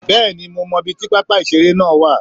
Bẹ́ẹ̀ni mo mo ibi tí pápá ìṣeré náà wà